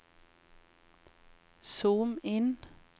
zoom inn